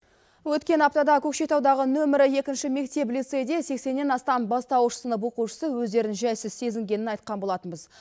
өткен аптада көкшетаудағы нөмірі екінші мектеп лицейде сексеннен астам бастауыш сынып оқушысы өздерін жайсыз сезінгенін айтқан болатынбыз